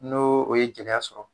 N'o o ye gɛlɛya sɔrɔ